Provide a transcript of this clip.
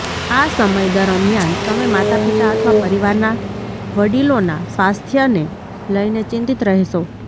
આ સમય દરમિયાન તમે માતાપિતા અથવા પરિવારના વડીલોના સ્વાસ્થ્યને લઈને ચિંતિત રહેશો